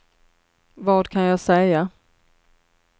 vad kan jag säga